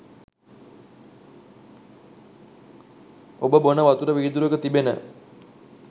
ඔබ බොන වතුර වීදුරුවක තිබෙන